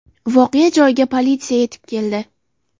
Voqea joyiga politsiya yetib keldi.